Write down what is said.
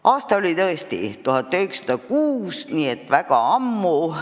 Aasta oli 1906, nii et väga ammu.